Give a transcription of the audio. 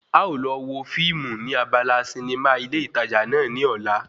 Àá lọ wo fíìmù ní abala sinimá ilé ìtajà náà ní ọ̀la